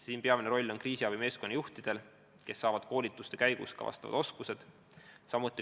Siin on peamine roll kriisiabi meeskonnajuhtidel, kes saavad koolituste käigus vajalikud oskused.